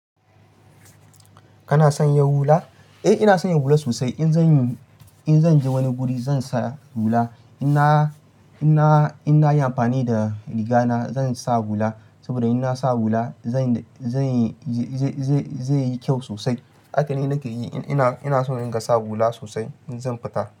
Kana san ya hula? Eh ina san ya hula sosai. In zan je wani guri zan sa hula. In na yi amfani da riga na zan sa hula. Saboda in na sa hula zai yi kyau sosai. Haka ne nake yi. Ina so in gasa hula sosai in zan fita.